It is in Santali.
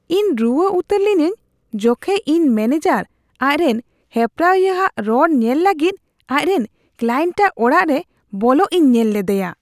ᱤᱧ ᱨᱩᱣᱟᱹ ᱩᱛᱟᱹᱨ ᱞᱤᱱᱟᱹᱧ ᱡᱚᱠᱷᱮᱡ ᱤᱧ ᱢᱮᱱᱮᱡᱟᱨ ᱟᱡᱨᱮᱱ ᱦᱮᱯᱨᱟᱣᱤᱭᱟᱹ ᱟᱜ ᱨᱚᱲ ᱧᱮᱞ ᱞᱟᱹᱜᱤᱫ ᱟᱡᱨᱮᱱ ᱠᱞᱟᱭᱮᱱᱴᱟᱜ ᱚᱲᱟᱜ ᱨᱮ ᱵᱚᱞᱚᱜ ᱤᱧ ᱧᱮᱞ ᱞᱮᱫᱮᱭᱟ ᱾